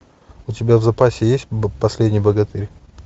у тебя в запасе есть последний богатырь